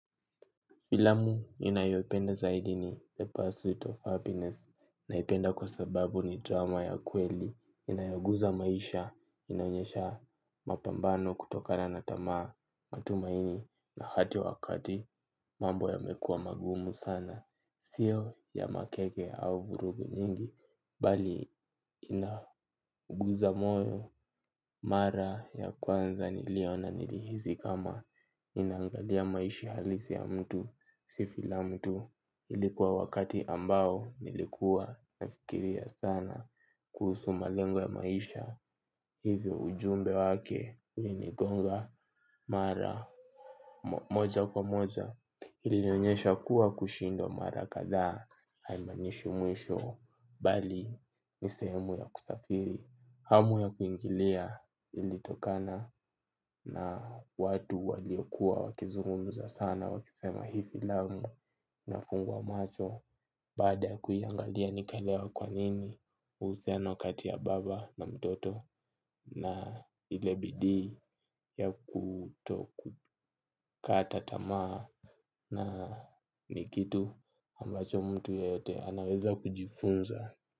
Filamu ninayopenda zaidi ni The Pursuit of Happiness naipenda kwa sababu ni drama ya kweli inayoguza maisha inaonyesha mapambano kutokana na tamaa matumaini na hata wakati mambo yamekua magumu sana. Sio ya makeke au vurugu nyingi. Bali inaguza moyo. Mara ya kwanza niliona nilihisi kama ninaangalia maishi halisi ya mtu. Si filamu tu. Ilikuwa wakati ambao nilikuwa nafikiria sana kuhusu malengo ya maisha. Hivyo ujumbe wake ulinigonga mara moja kwa moja. Ilinionyesha kuwa kushindwa mara kadha haimaanishi mwisho bali ni sehemu ya kusafiri hamu ya kuingilia ilitokana na watu waliokuwa wakizungumza sana wakisema hii filamu inafungua macho. Baada ya kuiangalia nikaelewa kwa nini uhusiano kati ya baba na mtoto na ile bidii ya kutokukata tamaa na ni kitu ambacho mtu yeyote anaweza kujifunza.